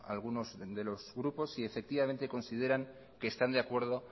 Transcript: algunos de los grupos si efectivamente consideran que están de acuerdo